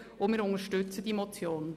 Wir unterstützen die Motion.